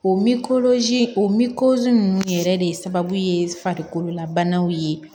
O o ninnu yɛrɛ de sababu ye farikololabanaw ye